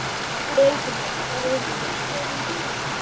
Elísabet: Er þér ekkert heitt í þessum búningi?